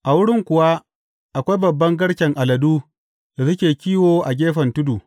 A wurin kuwa, akwai babban garken aladu da suke kiwo a gefen tudu.